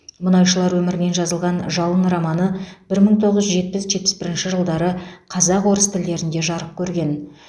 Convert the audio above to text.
мұнайшылар өмірінен жазылған жалын романы бір мың тоғыз жүз жетпіс жетпіс бірінші жылдары қазақ орыс тілдерінде жарық көрген